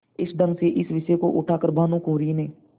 इस ढंग से इस विषय को उठा कर भानुकुँवरि ने